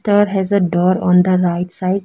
There has a door on the right side.